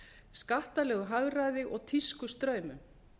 skattalegu hagræði og tískustraumum